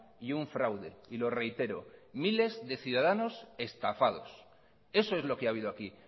y un fraude y lo reitero miles de ciudadanos estafados eso es lo que ha habido aquí